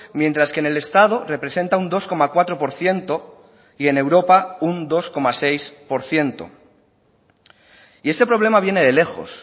mientras que en el estado representa un dos coma cuatro por ciento y en europa un dos coma seis por ciento y este problema viene de lejos